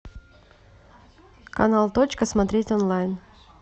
канал точка смотреть онлайн